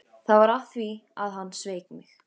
Það var af því að hann sveik mig.